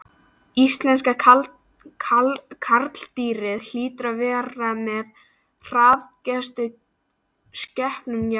Íslenska karldýrið hlýtur að vera með harðgerðustu skepnum jarðar.